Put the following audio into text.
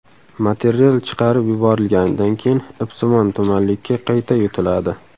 Material chiqarib yuborilganidan keyin ipsimon tumanlikka qayta yutiladi.